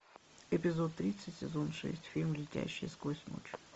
эпизод тридцать сезон шесть фильм летящие сквозь ночь